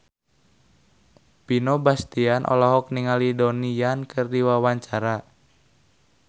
Vino Bastian olohok ningali Donnie Yan keur diwawancara